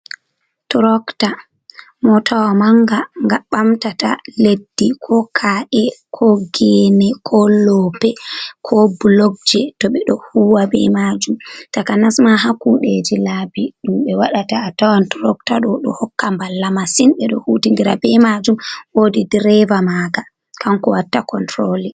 Turokta motawa manga ga ɓamtata leddi ko ka’e ko gene ko lope ko bulokje, to ɓe do huwa ɓe majum takanasma ha kuɗeji labi ɗum ɓe wadata a tawan turokta ɗo, ɗo hokka mballa masin be ɗo huti ndira be majum wodi dereba maga kanko watta konturoli.